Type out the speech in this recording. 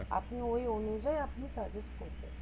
আপনি ঐ অনুযায়ী আপনি suggest করতে পারেন